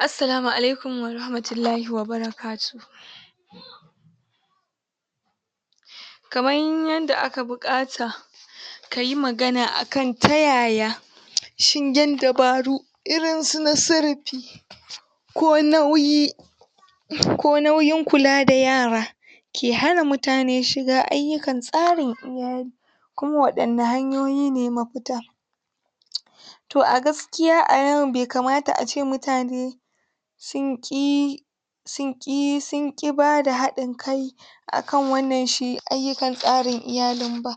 Assalamu alaikum warahamatullahi wa barakatuh kaman yanda aka buƙata kayi magana akan ta yaya shin yin dubaru irin na su sarafi ko nauyi, ko nauyin kula da yara ke hana mutane shiga ayyukan tsarin iyali kuma waɗanne hanyoyi ne mafita to a gaskiya a yau be kamata a ce mutane sun ƙi sun ƙi, sun ƙi bada haɗin kai akan wannan shi ayyukan tsarin iyalin ba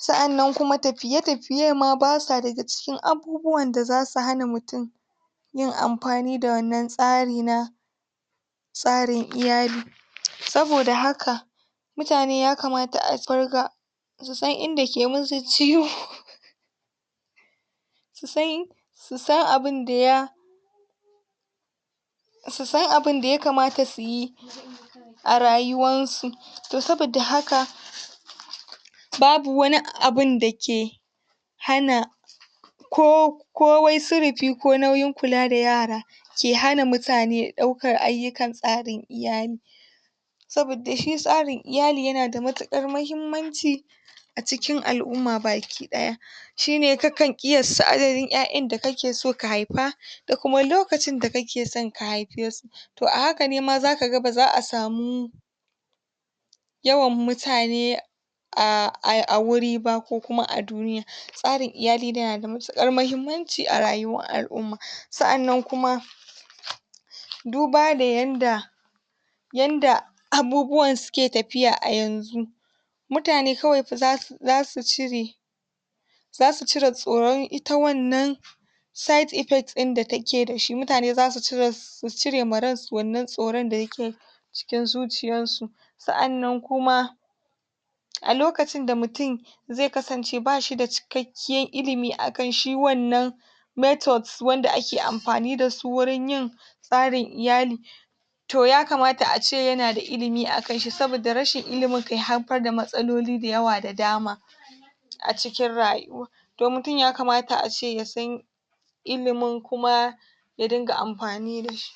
sa'annan kuma tafiye-tafiye ma basa daga cikin abubuwan da zasu hana mutun yin amfani da wannan tsari na tsarin iyali saboda haka mutane yakamata a farga su san inda ke musu ciwo su san, su san abunda ya su san abinda yakamata su yi a rayuwan su, to saboda haka babu wani abunda ke hana ko, ko wai surifi, ko nauyin kula da yara ke hana mutane ɗaukan ayyukan tsarin iyali saboda shi tsarin iyali yana da matuƙar mahimmanci a cikin al'umma bakiɗaya shi ne ka kan ƙiyasta adadin ƴaƴan da kake so ka haifa da kuma lokacin da kake son ka haife su to a haka ne ma zaka ga ba za'a samu yawan mutane ah, a wuri ba ko kuma a duniya tsarin iyali dai na da matuƙar mahimmanci a rayuwar al'umma, sa'annan kuma duba da yanda yanda abubuwan suke tafiya a yanzu mutane kawai fa zasu cire zasu cire tsoron ita wannan side effect ɗin da take da shi, mutane zasu cire su cire ma ran su wannan tsoron da yake cikin zuciyar su sa'annan kuma a lokacin da mutun zai kasance ba shi da cikakkiyar ilimi akan shi wannan methods wanda ake amfani da su wurin yin tsarin iyali to yakamata a ce yana da ilimi akan shi, saboda rashin ilimin ke haifar da matsaloli da yawa da dama a cikin rayuwa to mutun yakamata a ce ya san ilimin kuma ya dinga amfani da shi.